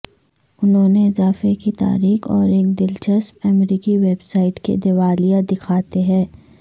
انہوں نے اضافہ کی تاریخ اور ایک دلچسپ امریکی ویب سائٹ کے دیوالیہ دکھاتے ہیں